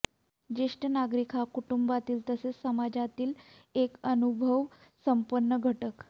ज्येष्ठ नागरिक हा कुटुंबातील तसेच समाजातीलही एक अनुभवसंपन्न घटक